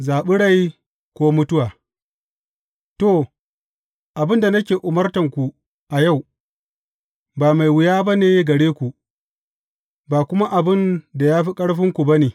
Zaɓi rai ko mutuwa To, abin da nake umartanku a yau, ba mai wuya ba ne gare ku, ba kuma abin da ya fi ƙarfinku ba ne.